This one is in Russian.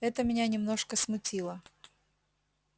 это меня немножко смутило